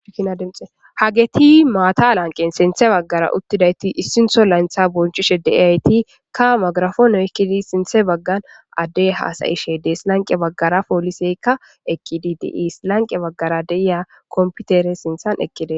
inademxehageti maata lanqen sinthe baggara uttidayti issinho layntha bonchishe deiyayti ka magrafonoykkidi sinthe baggan addey haasayishe dees lanqe baggara pooliseykka ekkidi diiis lanqe baggara de7iya komputere sinthan ekkide